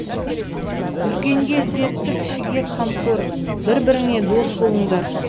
үлкенге ізетті кішіге қамқор бір біріңе дос болыңдар